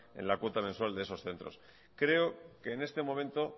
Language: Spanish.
en la cuota mensual de esos centros creo que en este momento